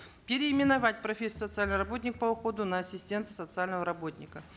переименовать профессию социальный работник по уходу на ассистента социального работника